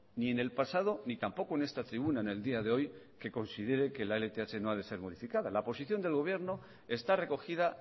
ni en el pasado ni tampoco en esta tribuna en el día de hoy que considere que la lth no a de ser modificada la posición del gobierno está recogida